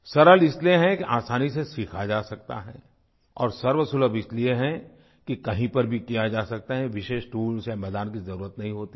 सरल इसलिए है कि आसानी से सीखा जा सकता है और सर्वसुलभ इसलिए है कि कहीं पर भी किया जा सकता है विशेष टूल्स या मैदान की ज़रूरत नहीं होती है